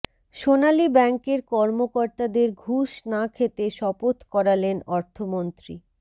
সোনালী ব্যাংকের কর্মকর্তাদের ঘুষ না খেতে শপথ করালেন অর্থমন্ত্রী